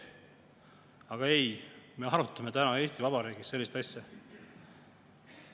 Aga ei, me arutame täna Eesti Vabariigis sellist asja.